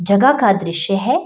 जगह का दृश्य है ।